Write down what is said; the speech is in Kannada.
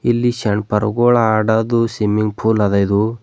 ಇಲ್ಲಿ ಸೇಣ್ ಪರಗೋಳ ಆಡೋದು ಸಿಮ್ಮಿಂಗ್ ಪೂಲ್ ಅದ ಇದು.